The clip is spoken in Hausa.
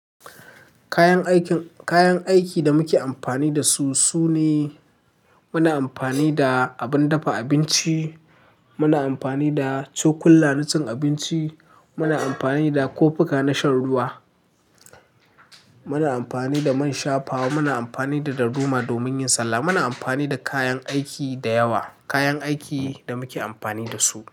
Kayan aikin, kayan aikin da muke amfani da su sune muna amfani da abin dafa abinci, muna amfani da cokulan na cin abinci, muna amfani da kofika na shan ruwa, muna amfani da man shafawa, muna amfani da darduma domin yin sallah. Muna amfani da kayan aiki da yawa, kayan aikin da muke amfani da su.